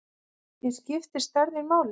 En skiptir stærðin máli?